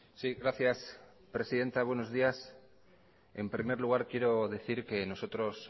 sí gracias presidenta buenos días en primer lugar quiero decir que nosotros